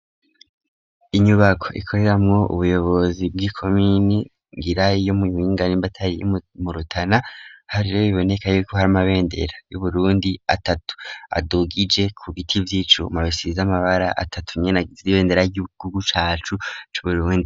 Inyubako ikoreramwo ubuyobozi bw'ikomine ngira y'imuyinga nimba atari murutana hariyo biboneka ko hari amabendera y'uburundi atatu adugije ku giti vy'icuma bisize amabara atatu nyene agize ibendera ry'igihugu cacu c'uburundi